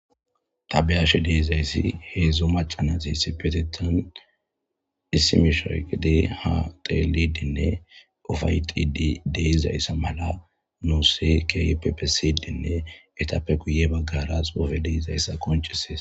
ta beashe deezayssi heedzdzu maca nati esipetetan issi misha oyikde ha teelidinne ofayxidi deizayssa mala nuuse kypepesidinne etappe guye baggarasofe deizayssa koncisees